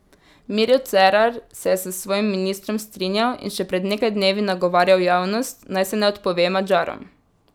Miro Cerar se je s svojim ministrom strinjal in še pred nekaj dnevi nagovarjal javnost, naj se ne odpove Madžarom.